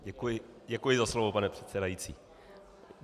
Děkuji za slovo, pane předsedající.